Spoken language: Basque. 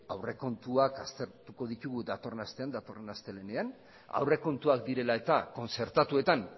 aurrekontuak aztertuko ditugu datorren astean datorren astelehenean aurrekontuak direla eta kontzertatuetan